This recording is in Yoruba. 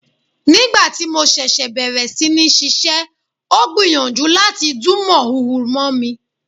Nígbà tí mo ṣẹ̀ṣẹ̀ bẹ̀rẹ̀ sí ní ṣiṣẹ́, ó gbìyànjú láti dún mọ̀húrú mọ́ mi.